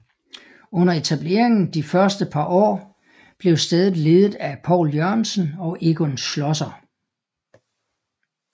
Under etableringen de første par år blev stedet ledet af Poul Jørgensen og Egon Schlosser